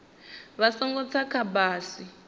vha songo tsa kha bisi